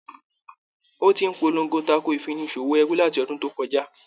Ò ti ń polongo tako ìfini ṣòwò ẹrú láti ọdún tó kọjá.